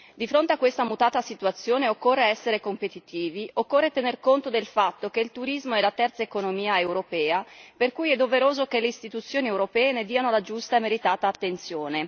Di fronte a questa mutata situazione occorre essere competitivi, occorre tener conto del fatto che il turismo è la terza economia europea, per cui è doveroso che le istituzioni europee vi prestino la giusta e meritata attenzione.